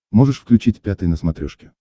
можешь включить пятый на смотрешке